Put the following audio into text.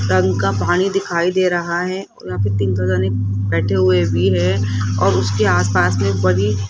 टंक का पानी दिखाई दे रहा है और यहां पे तीन फलाने बैठे हुए भी है और उसके आस पास में बड़ी --